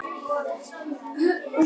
Villa skoraði í fyrsta leiknum